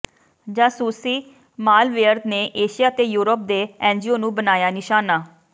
ਜਾਸੂਸੀ malware ਨੇ Asia ਤੇ Europe ਦੇ ਐੱਨਜੀਓ ਨੂੰ ਬਣਾਇਆ ਨਿਸ਼ਾਨਾ